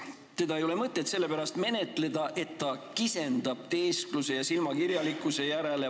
Seda ei ole mõtet menetleda, sest sellest vaatab vastu valitsuse kisendav teesklus ja silmakirjalikkus.